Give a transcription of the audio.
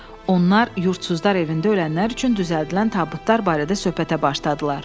Onlar yurdsuzlar evində ölənlər üçün düzəldilən tabutlar barədə söhbətə başladılar.